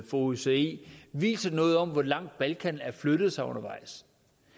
for osce viser noget om hvor langt balkan har flyttet sig undervejs